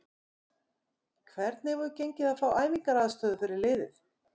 Hvernig hefur gengið að fá æfingaaðstöðu fyrir liðið?